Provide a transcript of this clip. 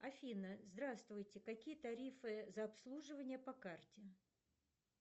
афина здравствуйте какие тарифы за обслуживание по карте